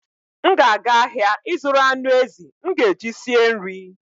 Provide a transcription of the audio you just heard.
M ga-aga ahịa ịzụrụ anụ ezi m ga-eji sie nri.